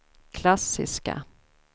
klassiska